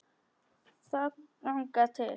Þangað til